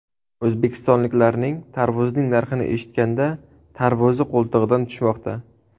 O‘zbekistonliklarning tarvuzning narxini eshitganda tarvuzi qo‘ltig‘idan tushmoqda.